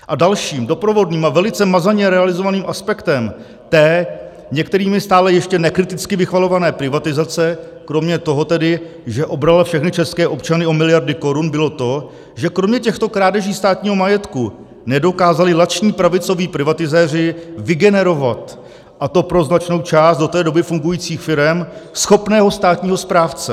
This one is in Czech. A dalším doprovodným a velice mazaně realizovaným aspektem té některými stále ještě nekriticky vychvalované privatizace, kromě toho tedy, že obrala všechny české občany o miliardy korun, bylo to, že kromě těchto krádeží státního majetku nedokázali lační pravicoví privatizéři vygenerovat, a to pro značnou část do té doby fungujících firem, schopného státního správce.